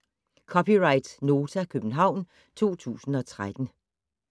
(c) Nota, København 2013